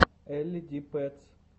элли ди пэтс